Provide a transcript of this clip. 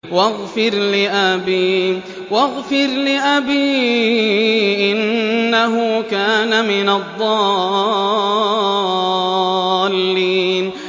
وَاغْفِرْ لِأَبِي إِنَّهُ كَانَ مِنَ الضَّالِّينَ